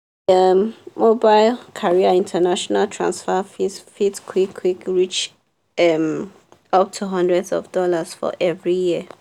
um mobile carrier international transfer fees fit quick quick reach um up to hundreds of dollars for every year.